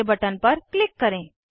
okay button पर click करें